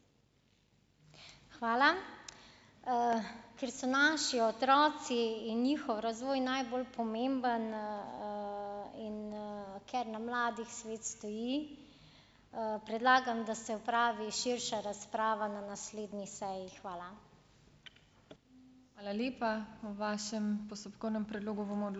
Hvala. Ker so naši otroci in njihov razvoj najbolj pomemben, in, ker na mladih svet stoji, predlagam, da se opravi širša razprava na naslednji seji. Hvala.